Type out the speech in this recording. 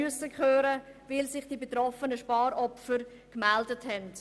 Das geschah, weil sich die betroffenen Sparopfer gemeldet haben.